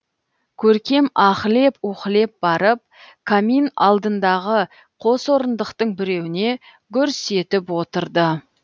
көркем аһлеп уһілеп барып камин алдындағы қос орындықтың біреуіне гүрс етіп отырды